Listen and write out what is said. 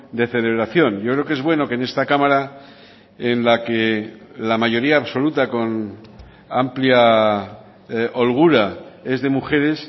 de celebración yo creo que es bueno que en esta cámara en la que la mayoría absoluta con amplia holgura es de mujeres